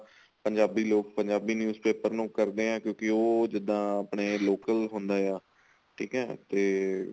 ਪੰਜਾਬੀ ਲੋਕ Punjabi news paper ਨੂੰ ਕਰਦੇ ਏ ਕਿਉਂਕਿ ਉਹ ਜਿੱਦਾਂ ਆਪਣੇ local ਹੁੰਦੇ ਆ ਠੀਕ ਏ ਤੇ